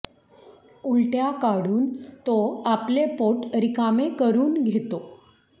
उलट्या काढून तो आपले पोट रिकामे करून घेतो